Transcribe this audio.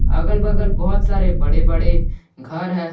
अगल बगल बहुत सारे बड़े बड़े घर है।